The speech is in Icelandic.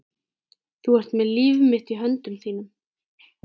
Þú ert með líf mitt í höndum þínum.